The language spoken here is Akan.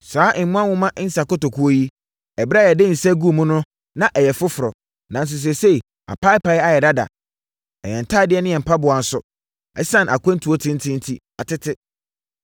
Saa mmoa nwoma nsã nkotokuo yi, ɛberɛ a yɛde nsã guu mu no na ɛyɛ foforɔ, nanso seesei, apaapae ayɛ dada. Na yɛn ntadeɛ ne mpaboa nso, ɛsiane akwantuo tenten enti, atete.”